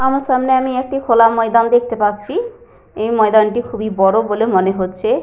আমার সামনে আমি একটি খোলা ময়দান দেখতে পাচ্ছি। এই ময়দানটি খুবই বড় বলে মনে হচ্ছে।